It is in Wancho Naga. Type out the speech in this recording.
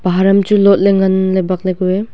pahar chu lot le ngan le bak ley kue.